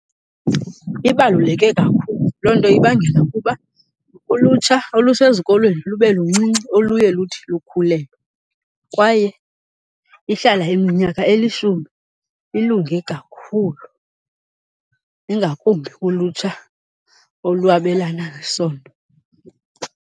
Ibaluleke kakhulu. Loo nto ibangela ukuba ulutsha olusezikolweni lube luncinci oluye luthi lukhulelwe, kwaye ihlala iminyaka elishumi. Ilunge kakhulu ingakumbi ulutsha olwabelana ngesondo.